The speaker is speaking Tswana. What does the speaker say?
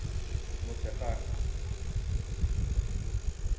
motshegang